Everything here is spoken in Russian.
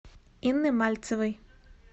инны мальцевой